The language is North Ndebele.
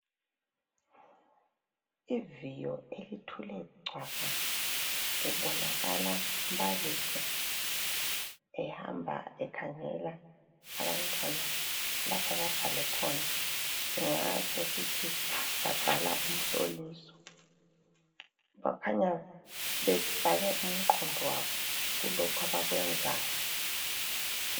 Iviyo elithule cwaka. Kubonakala umbalisi ehamba ekhangela abantwana lapha ababhale khona, singatsho sithi babhala umhloliso .Bakhanya bebhale umqondo wabo kulokhu abakwenzayo.